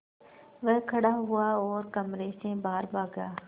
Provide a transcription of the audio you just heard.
वह खड़ा हुआ और कमरे से बाहर भागा